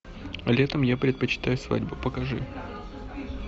летом я предпочитаю свадьбу покажи